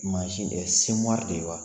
Mansi o ye semori de ye wa?